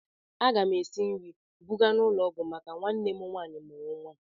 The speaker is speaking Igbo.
Aga m esi nri buga n'ụlọ ọgwụ maka nwanne m nwaanyị mụrụ nwa.